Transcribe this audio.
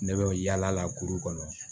Ne bɛ yaala kuru kɔnɔ